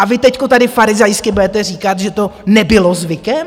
A vy teď tady farizejsky budete říkat, že to nebylo zvykem?